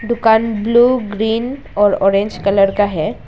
दुकान blue green और orange colour का है।